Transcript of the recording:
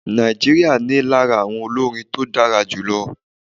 Nigeria ní lára àwọn olórin tó dára jù lọ.